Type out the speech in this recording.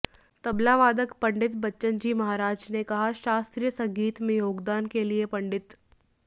तबलावादक पं बच्चनजी महाराज ने कहा कि शास्त्रीय संगीत में योगदान के लिए पंडित